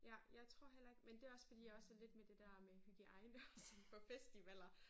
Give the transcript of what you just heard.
Ja jeg tror heller ikke men det også fordi jeg også lidt med det der med hygiejne og sådan på festivaler